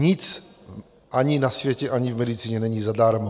Nic ani na světě, ani v medicíně není zadarmo.